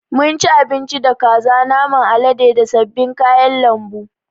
Mun ci abinci da kaza, naman alade da sabbin kayan lambu.